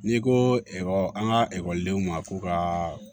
N'i ko ekɔli an ka ekɔlidenw ma ko ka